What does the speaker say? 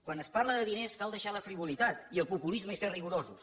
quan es parla de diners cal deixar la frivolitat i el populisme i ser rigorosos